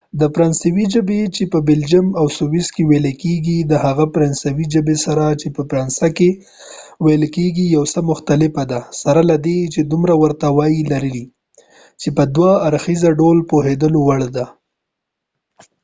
د فرانسوۍ ژبه چې په بلجیم او سویس کې ویل کیږي د هغه فرانسوۍ ژبې سره چې په فرانسه کې ویل کیږي یو څه مختلفه ده سره له دې چې دومره ورته والی لري چې په دوه اړخیزه ډول د پوهیدلو وړ ده